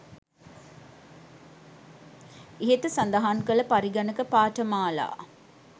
ඉහත සඳහන් කල පරිගණක පාඨමාලා